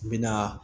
N bɛ na